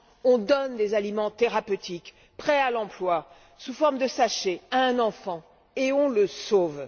On donne des aliments thérapeutiques prêts à l'emploi sous forme de sachets à un enfant et on le sauve!